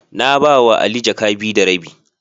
Na ba wa Ali jaka biyu da rabi.